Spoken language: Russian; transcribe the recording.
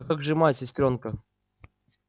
а как же мать сестрёнка